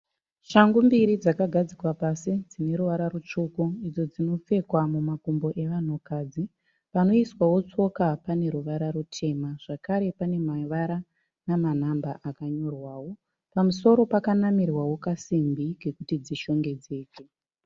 Shangu mbiri dzakagadzikwa pasi dzineruvara rutsvuku idzo dzinopfekwa mumakumbo evanhukadzi. Panoiswawo tsoka paneruvara rutema zvakare pane mavara nemanhamba. Pamusoro pakanamirwa masimbi ekuti dzishongedezeke.